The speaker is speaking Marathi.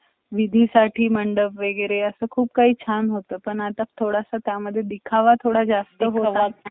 वर होशील job देण्यापेक्षा जो कोणी माझ्या ओळखीचा आहे किवा मझ्या मित्राचा मुलगा आहे, त्याला मी job लाऊन दिला तर तो माझ्या trust मध्ये राहील किवा माझ्या हाताखाली राहील